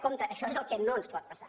compte això és el que no ens pot passar